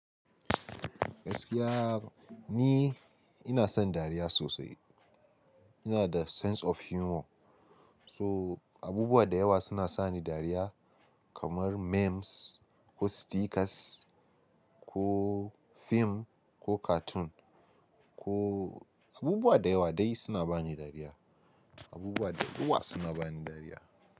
Gaskiya ni ina son dariya sosai. Ina da sense of humor. So, abubuwa da yawa suna sani dariya kamar memes ko stickers ko fim ko cartoon ko abubuwa da yawa dai suna bani dariya. Abubuwa da yawa suna bani dariya.